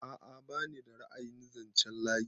A'a bani da ra'ayin zanchen layi.